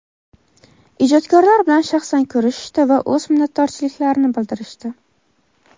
ijodkorlar bilan shaxsan ko‘rishishdi va o‘z minnatdorchiliklarini bildirishdi.